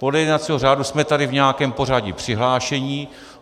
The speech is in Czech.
Podle jednacího řádu jsme tady v nějakém pořadí přihlášeni.